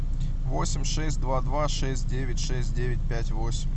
восемь шесть два два шесть девять шесть девять пять восемь